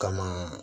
Kama